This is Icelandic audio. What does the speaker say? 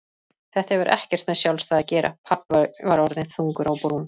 Þetta hefur ekkert með sjálfstæði að gera pabbi var orðinn þungur á brún.